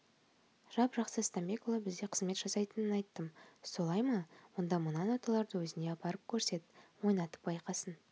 жап-жақсы стамбекұлы бізде қызмет жасайтынын айттым солай ма онда мына ноталарды өзіне апарып көрсет ойнатып байқасын